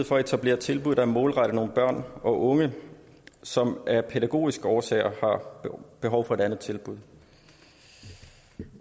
for at etablere tilbud der er målrettet nogle børn og unge som af pædagogiske årsager har behov for et andet tilbud